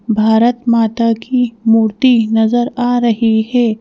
भारत माता की मूर्ति नजर आ रही है।